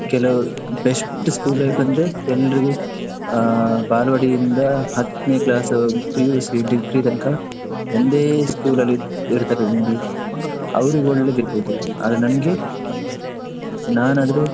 ಕೆಲವ್ best school life ಅಂದ್ರೆ ಎಲ್ರಿಗೂ ಬಾಲ್ವಾಡಿ ಇಂದ ಹತ್ತನೇ class PUC degree ತನ್ಕ ಒಂದೇ school ಅಲ್ಲಿ ಇರತರ್ ನೋಡಿ, ಅವ್ರಿಗೆ ಒಳ್ಳೇದ್ ಇರ್ಬೋದು ಆದ್ರೆ ನಂಗೆ ನಾನಾದ್ರೆ.